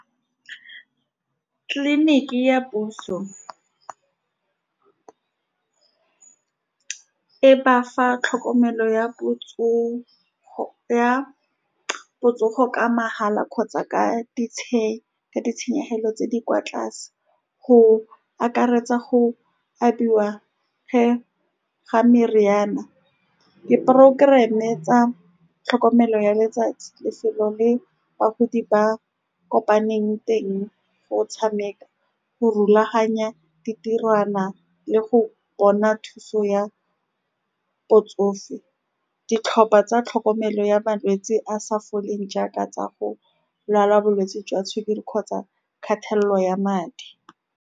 Tleliniki ya puso e ba fa tlhokomelo ya ya botsogo, ka mahala kgotsa ka , ka litšenyehelo tse di kwa tlase, go akaretsa go abiwa ge, ga meriana, di-program-e tsa tlhokomelo ya letsatsi, lefelo le bagodi ba kopaneng teng go tshameka, go rulaganya ditirwana le go bona thuso ya botsofe. Ditlhopha tsa tlhokomelo ya malwetsi a sa foleng, jaaka tsa go lwala bolwetse jwa sukiri kgotsa khatello ya madi.